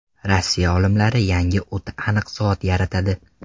Rossiya olimlari yangi o‘ta aniq soat yaratadi.